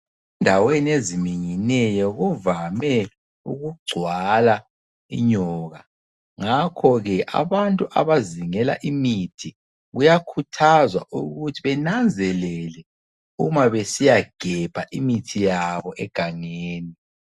Endaweni eziminyeneyo kuvame ukugcwala inyoka ngakho ke abantu abazingela imithi kuyakhuthazwa ukuthi benanzelele uma besiyagebha imithi yabo engangeni.